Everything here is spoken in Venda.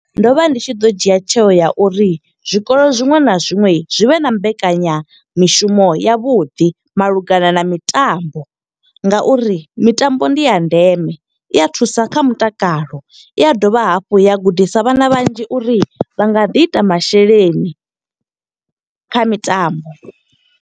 Ndo vha ndi tshi ḓo dzhia tsheo ya uri, zwikolo zwiṅwe na zwiṅwe zwi vhe na mbekanya mishumo ya vhuḓi. Malugana na mitambo nga uri mitambo ndi ya ndeme, i a thusa kha mutakalo. I a dovha hafhu ya gudisa vhana vhanzhi uri vha nga ḓi ita masheleni kha mitambo.